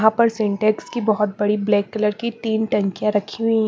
यहां पर सिंटेक्स की बहोत बड़ी ब्लैक कलर की तीन टंकिया रखी हुई--